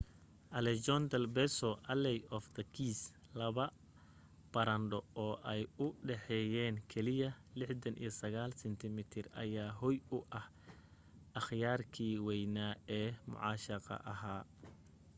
callejon del beso alley of the kiss. laba barandho oo ay u dhexeyeen keliya 69 sentimitir ayaa hoy u ah akhyaarkii waynaa ee mucaashaqa ahaa